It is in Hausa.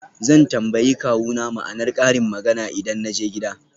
Zan tambayi kawuna ma'anar karin magana idan na je gida.